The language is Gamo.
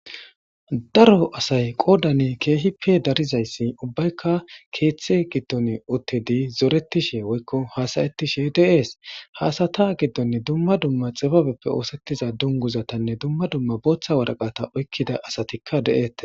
Daro asay qoodani keehippe darizayssi ubbaykka keeththe giddon uttidi zoretishe woykko haasayetishe deees haasata giddonne dumma dumma xibabeppe oosettiza dunguzatanne dumma dumma booththa waraqata oykkida asatikka de7ette